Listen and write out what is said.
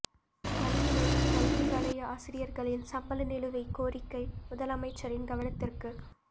கல்முனை கல்வி வலய ஆசிரியர்களின் சம்பள நிலுவைக் கோரிக்கை முதலமைச்சரின் கவனத்திற்கு